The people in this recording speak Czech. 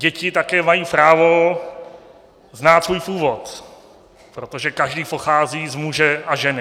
Děti také mají právo znát svůj původ, protože každý pochází z muže a ženy.